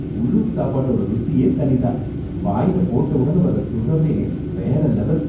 உள்ளூர் சாப்பாட்டோட ருசியே தனி தான், வாயில போட்ட உடனே வர சுகமே வேற லெவல்.